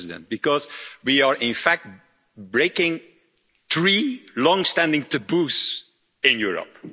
Because we are in fact breaking three long standing taboos in Europe.